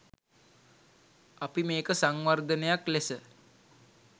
අපි මේක සංවර්ධනයක් ලෙස